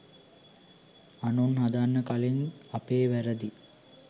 අනුන් හදන්න කලින් අපේ වැරදි